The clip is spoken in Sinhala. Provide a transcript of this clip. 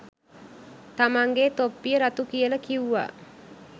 තමන්ගෙ තොප්පිය රතු කියල කිව්වා.